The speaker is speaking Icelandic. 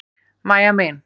Mæja mín.